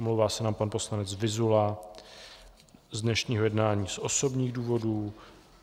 Omlouvá se nám pan poslanec Vyzula z dnešního jednání z osobních důvodů.